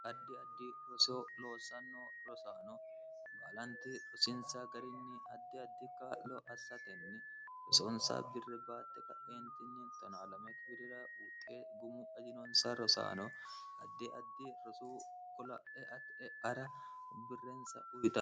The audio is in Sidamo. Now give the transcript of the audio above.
addi addi roseo loosanno rosaano baalanti rosinsa garinni addi addi kaa'lo assatenni rosoonsa birre baatte ka'eni12wirira uuxxe gumu ajinonsa rosaano addi addi rosuu gola'e ieara birreensa uyion